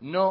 no